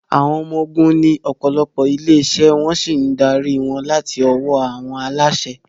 Àwọn Ọmọ Ogun ní ọ̀pọ̀lọpọ̀ ilé-iṣẹ́ wọ́n sì ń darí wọn láti ọwọ́ àwọn aláṣẹ.